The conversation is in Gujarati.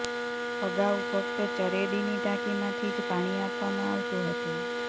અગાઉ ફક્ત ચરેડીની ટાંકીમાંથી જ પાણી આપવામાં આવતું હતું